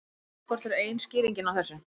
Greiðslukort eru ein skýringin á þessu.